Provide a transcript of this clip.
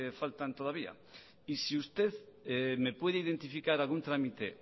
faltan todavía y si usted me puede identificar algún trámite